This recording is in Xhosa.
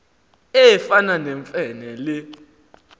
efana nemfe le